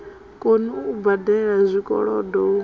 koni u badela zwikolodo hu